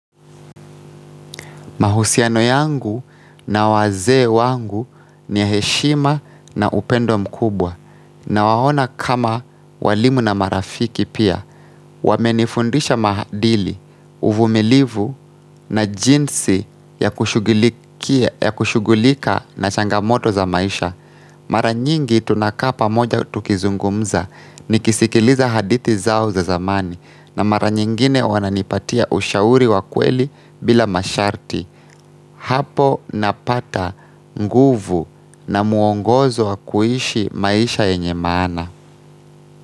Mahusiano yangu na wazee wangu ni ya heshima na upendo mkubwa nawaona kama walimu na marafiki pia. Wamenifundisha mahadili, uvumilivu na jinsi ya kushughulika na changamoto za maisha. Mara nyingi tunakaa pamoja tukizungumza nikisikiliza hadithi zao za zamani na mara nyingine wananipatia ushauri wa kweli bila masharti. Hapo napata nguvu na muongozo wa kuishi maisha yenye maana.